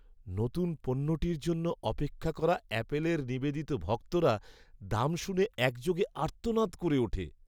নতুন পণ্যটির জন্য অপেক্ষা করা অ্যাপলের নিবেদিত ভক্তরা দাম শুনে একযোগে আর্তনাদ করে ওঠে।